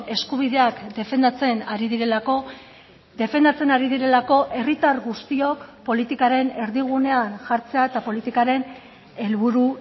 eskubideak defendatzen ari direlako defendatzen ari direlako herritar guztiok politikaren erdigunean jartzea eta politikaren helburu